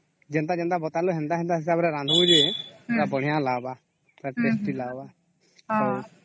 ଯେନ ଟା ଯେନ୍ତା ବାତାଳୁ ସେନ୍ତା ସେନ୍ତା ହିସାବରେ ରାନ୍ଧିବୁ ଯେ ପୁରା ବଢିଆ ଲାଗିବ ପୁରା tasty ଲାଗିବ